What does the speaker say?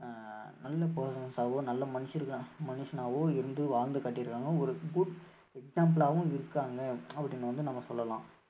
அஹ் நல்ல persons ஆவோ நல்ல மனுஷ~ மனுஷனாவோ இருந்து வாழ்ந்து காட்டிருக்காங்க ஒரு good example ஆவும் இருக்காங்க அப்படின்னு வந்து நம்ம சொல்லலாம்